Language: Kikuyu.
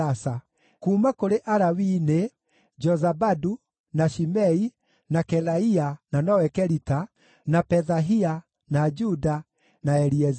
Kuuma kũrĩ Alawii nĩ: Jozabadu, na Shimei, na Kelaia (na nowe Kelita), na Pethahia, na Juda, na Eliezeri.